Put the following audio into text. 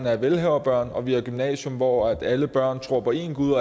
er velhaverbørn og vi har et gymnasium hvor alle børn tror på én gud